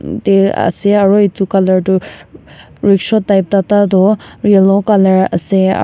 ase aro etu color tu rikshaw type tata tu yellow color ase.